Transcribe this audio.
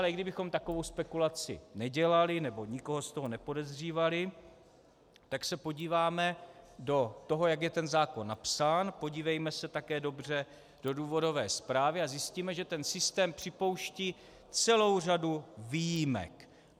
Ale i kdybychom takovou spekulaci nedělali nebo nikoho z toho nepodezřívali, tak se podíváme do toho, jak je ten zákon napsán, podívejme se také dobře do důvodové zprávy a zjistíme, že ten systém připouští celou řadu výjimek.